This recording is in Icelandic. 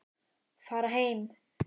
Fara heim.